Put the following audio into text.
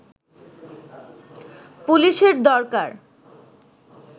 পুলিশের দরকার